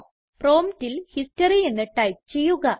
പ്രോംപ്റ്റിൽ ഹിസ്റ്ററി എന്ന് ടൈപ്പ് ചെയ്യുക